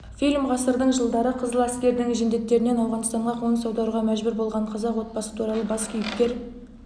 фильм ғасырдың жылдары қызыл әскердің жендеттерінен ауғанстанға қоныс аударуға мәжбүр болған қазақ отбасы туралы бас кейіпкер